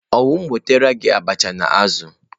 Ọ wu m wetara gị abacha na azu?